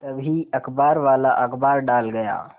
तभी अखबारवाला अखबार डाल गया